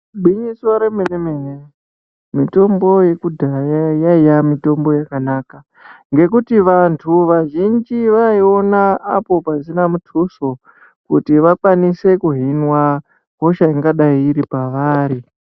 Igwinyiso remene mene mitombo yekudhaya yaiya mitombo yakanaka ngekuti vantu vazhinji vaiona apo pasina mutuso kuti vakwanise kuhinwa hosha ingadai iri pavari.